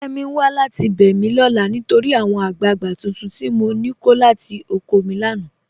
Kẹ́mí n wà láti bẹ́ mi lọ́la nítorí àwọn agbàgbà tuntun tI mọ ní kọ̀ látì ọ̀kọ̀ mi lánà.